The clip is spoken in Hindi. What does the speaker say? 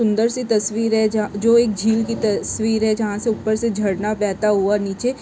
सुंदरसी से तस्वीर है जा जो एक झील की तस्वीर है जहा से उपर से झरना बहता हुआ निचे--